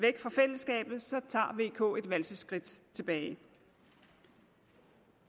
k et valseskridt tilbage